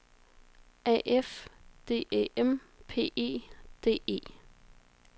A F D Æ M P E D E